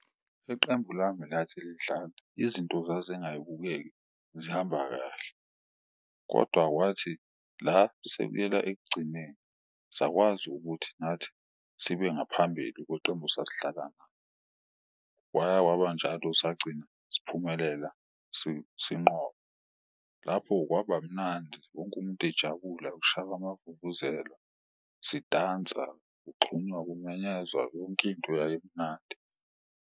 Iqembu lami lathi lidlala izinto zazingayibukeki zihamba kahle, kodwa kwathi la sekuyela ekugcineni sakwazi ukuthi nathi sibe ngaphambili kweqembu esasidlala lo waya kwabanjalo, sagcina siphumelela sinqoba. Lapho kwaba mnandi wonke umuntu ejabula kushawa, amavuvuzela siyidansela, kugxunywa, kumenyezwa yonkinto yayimnandi.